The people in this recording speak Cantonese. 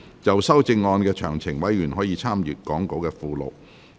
就修正案詳情，委員可參閱講稿附錄。